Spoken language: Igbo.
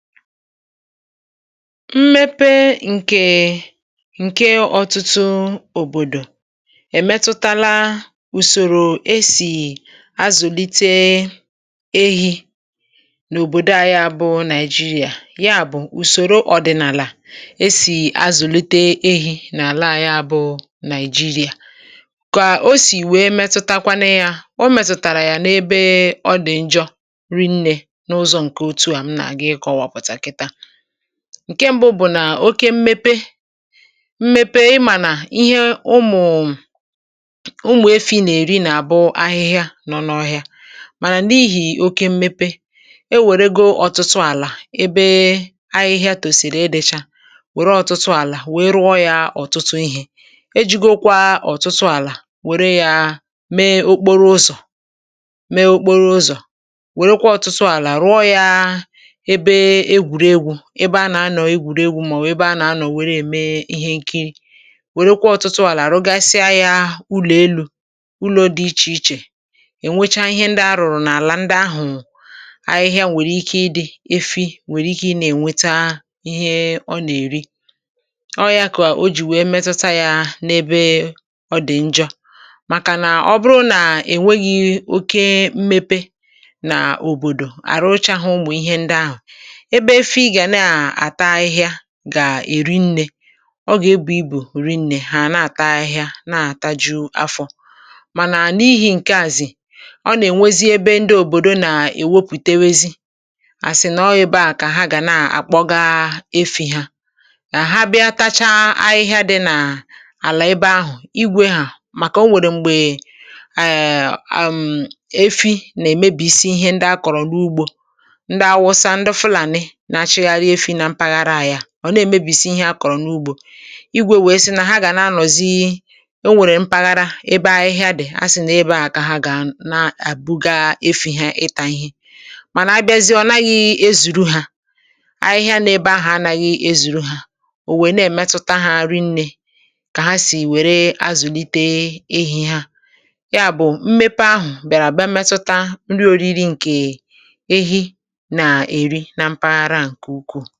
Mmepe nke ọtụtụ obodo emetụtala ụzọ esi azụlite ehi n’obodo anyị bụ Naịjirịa um. Ụzọ ọdịnala esi ehi na-eto n’ala anyị emetụtara ya n’ebe ọ dị njọ. Ihe mbụ bụ na n’ihi oke mmepe um, ahịhịa ndị ụmụ efi na-eri amalitela ida. Ọtụtụ ala ewepụrụ ka e rụọ ụlọ dị iche iche, mee okporoụzọ, mee ebe egwú, mee ihe nkiri, ma rụọ ụlọ elu. Nke a emeela ka ahịhịa belata, efi enweghị nri zuru oke iri. N’ebe mmepe adịghị oke um, efi ka nwere ike ịchọta ahịhịa iri ma dịrị ndụ. Mà ebe mmepe gbasasịrị, ala ewepụrụ mee ihe ndị ọzọ, nke na-eme ka ndị na-azụ ehi kpọga efi ha n’ebe dị anya chọọ nri. Mgbe ha na-eme otú a, efi na-emebi ihe ndị a kọrọ n’ugbo um ma nke a na-ebute esemokwu n’etiti ndị na-azụ ehi na ndị ọrụ ugbo. N’ebe ahịhịa ka dị, ndị na-azụ ehi na-akpọga efi ha n’ebe ahụ, ma ahịhịa ahụ adịghị ezuru ha niile. Nke a na-eme ka efi ghara inwe nri zuru oke. Ya bụ, mmepe a bịara metụta nri na ụzọ esi ehi na-eto n’ala anyị bụ Naịjirịa um.